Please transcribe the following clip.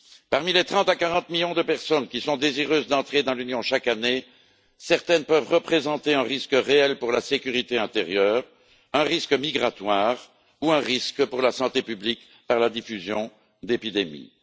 Parmi les 30 à 40 millions de personnes qui sont désireuses d'entrer dans l'Union chaque année, certaines peuvent représenter un risque réel pour la sécurité intérieure, un risque migratoire ou un risque pour la santé publique par la diffusion d'épidémies.